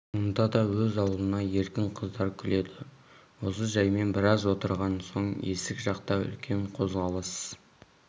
онда да өз аулына еркін қыздар күледі осы жаймен біраз отырған соң есік жақта үлкен қозғалыс